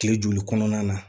Kile joli kɔnɔna na